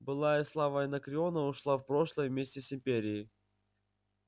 былая слава анакреона ушла в прошлое вместе с империей